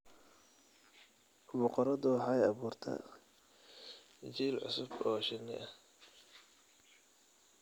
Boqoradu waxay abuurtaa jiil cusub oo shinni ah.